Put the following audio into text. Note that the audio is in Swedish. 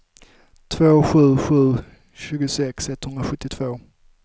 sju två sju sju tjugosex etthundrasjuttiotvå